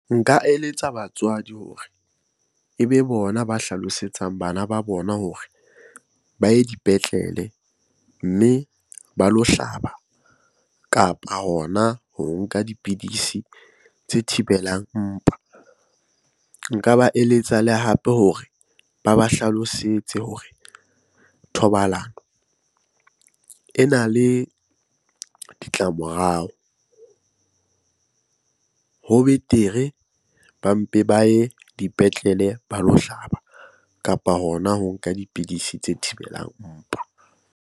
Nka eletsa batswadi hore ebe bona ba hlalosetsang bana ba bona hore ba ye dipetlele mme ba lo hlaba kapa hona ho nka dipidisi tse thibelang mpa. Nka ba eletsa le hape hore ba ba hlalosetse hore thobalano ena le ditlamorao. Ho betere ba mpe ba ye dipetlele ba lo hlaba kapa hona ho nka dipidisi tse thibelang mpa.